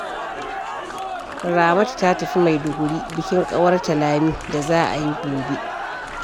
Ramatu ta tafi Maiduguri bikin ƙawarta Lami da za a yi gobe